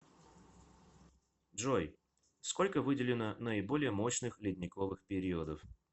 джой сколько выделено наиболее мощных ледниковых периодов